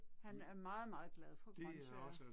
Han er meget meget glad for grøntsager